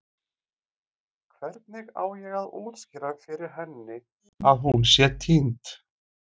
Hvernig á ég að útskýra fyrir henni að hún sé týnd?